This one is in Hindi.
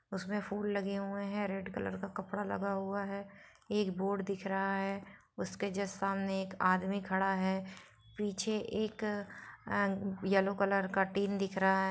उसमे फुल लगे हुए है रेड कलर का कपड़ा लगा हुआ है एक बोर्ड दिख रहा है उसके जस सामने एक आदमी खरा है पीछे एक ए येल्लो कलर का टिन दिख रहा है।